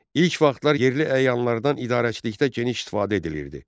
İlk vaxtlar yerli əyanlardan idarəçilikdə geniş istifadə edilirdi.